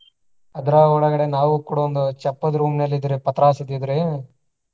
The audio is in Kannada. ಅದರ ಒಳಗಡೆ ನಾವು ಕೂಡಾ ಒಂದು ಚಪ್ಪರ room ನಲ್ಲಿ ಇದಿವ್ರಿ ಪತ್ರಾಸ ಇದ್ದಿದ್ರಿ.